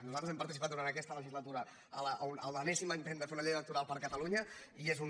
nosaltres hem participat durant aquesta le·gislatura a l’enèsim intent de fer una llei electoral per a catalunya i és un